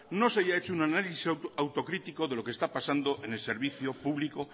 no se haya hecho un análisis autocritico de lo que está pasando en el servicio público